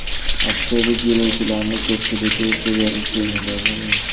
Avtobus yo‘lovchilarining ko‘pchiligi suriyalik fermerlar bo‘lgan.